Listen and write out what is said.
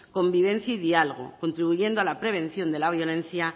convivencia y diálogo contribuyendo a la prevención de la violencia